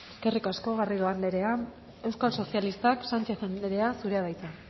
eskerrik asko garrido andrea euskal sozialistak sánchez anderea zurea da hitza